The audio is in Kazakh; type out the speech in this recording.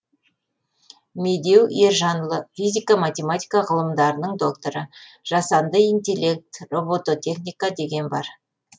медеу ержанұлы физика математика ғылымдарының докторы жасанды интеллект робототехника деген бар